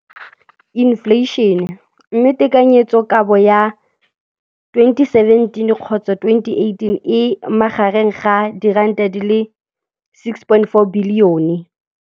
Infleišene, mme tekanyetsokabo ya 2017, 18, e magareng ga R6.4 bilione.